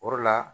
O de la